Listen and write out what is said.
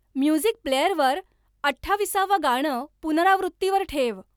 music प्लेअरवर अठ्ठाविसावं गाणं पुनरावृत्तीवर ठेव